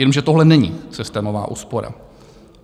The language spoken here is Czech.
Jenže tohle není systémová úspora.